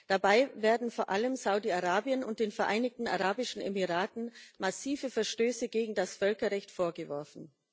Dabei werden vor allem Saudi Arabien und den Vereinigten Arabischen Emiraten massive Verstöße gegen das Völkerrecht vorgeworfen.